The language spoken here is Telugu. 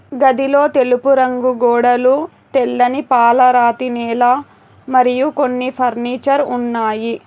అవి వివిధ రంగులను కలిగి ఉన్నాయి.